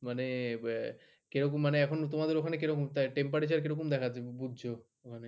মানে কিরকম মানে এখন তোমাদের ওখানে কিরকম temperature কিরকম দেখা যাচ্ছে বুঝছ মানে